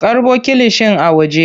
Karɓo kilishin a waje.